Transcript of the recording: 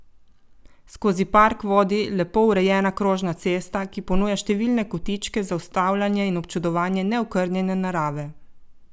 Skozi park vodi lepo urejena krožna cesta, ki ponuja številne kotičke za ustavljanje in občudovanje neokrnjene narave.